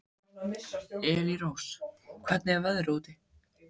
Elírós, hvernig er veðrið úti?